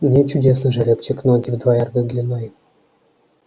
нет чудесный жеребчик ноги в два ярда длиной